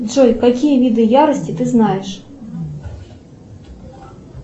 джой какие виды ярости ты знаешь